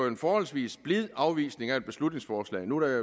en forholdsvis blid afvisning af beslutningsforslaget nu er